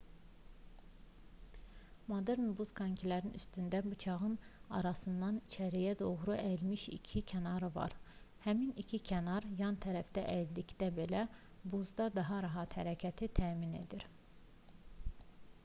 modern buz konkilərinin üstündəki bıçağın arasında içəriyə doğru əyilmiş iki kənarı var həmin iki kənar yan tərəfə əyildikdə belə buzda daha rahat hərəkəti təmin edir